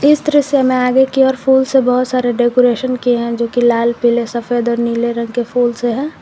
इस दृश्य में आगे की और फूल से बहुत सारे डेकोरेशन किए हैं जो की लाल पीले सफेद और नीले रंग के फूल से है।